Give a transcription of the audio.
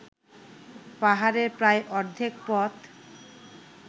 পাহাড়ের প্রায় অর্ধেক পথ